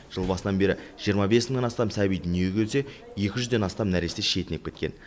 жыл басынан бері жиырма бес мыңнан астам сәби дүниеге келсе екі жүзден астам нәресте шетінеп кеткен